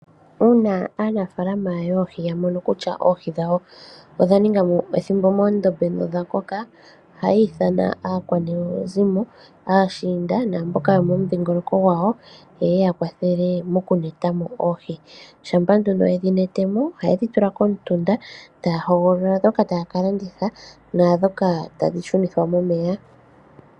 Uuna aanafaalama yoohi ya mono kutya oohi dhawo odha ninga mo ethimbo moondombe, nodha koka, ohayi ithana aakwanezimo, aashiinda naamboka yomomudhingoloko gwawo, yeye ya kwathele moku neta mo oohi. Shampa nduno yedhi nete mo, ohaye dhi tula komutunda, taya hogolola ndhoka taya ka landitha naandhoka tadhi shunithwa momeya.